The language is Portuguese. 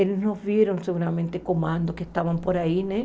Eles nos viram, seguramente, comandos que estavam por aí, né?